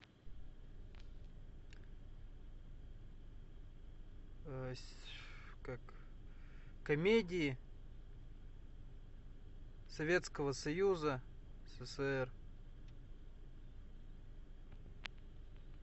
как комедии советского союза ссср